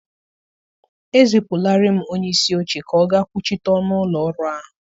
Ezipụlaarị m onye isi oche ka ọ gaa kwuchite ọnụ ụlọ ọrụ ahụ.